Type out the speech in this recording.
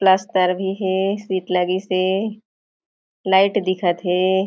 पलस्तर भी हे सीट लगिस हे लाइट दिखत हे।